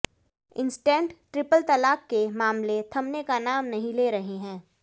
instant triple तलाक के मामले थमने का नाम नहीं ले रहे हैं